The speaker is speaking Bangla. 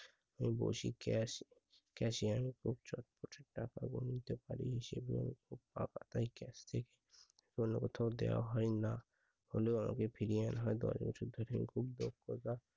আমি বসি cash cashier খুব চটপটে টাকা গুনতে পারি, হিসেবেও খুব পাকা তাই cash থেকে অন্য কোথাও দেওয়া হয় না, হলেও আগে ফিরিয়ে আনা হয় দশ বছর ধরে